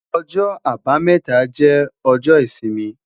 Ọjọ́-Àbámẹ́ta jẹ ọjọ isimi